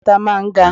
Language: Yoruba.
Àpáta máa ń ga.